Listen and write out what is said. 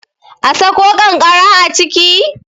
a Sako kankara a ciki?